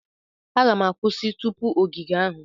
M ga-akwụsị tupu ogige ahụ.